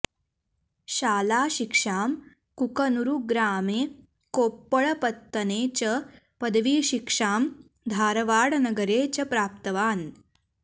शालाशिक्षां कुकनूरुग्रामे कोप्पळपत्तने च पदवीशिक्षां धारवाडनगरे च प्राप्तवान्